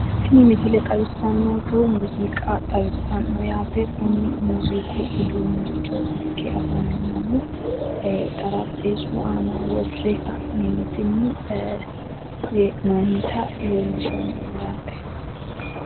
tini misile xawissannonkehu muuziiqa xawissannonke yaate kuni muuziiqu uduunnicho ikke afaminohu ee xarapheezzu aana worre ka'neentinni ee hee'noonnita leellishshannoho yaate.